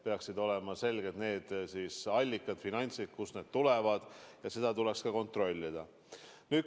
Peaksid olema selged need allikad, need finantsid, kust selleks raha tuleb, ja seda tuleks ka kontrollida.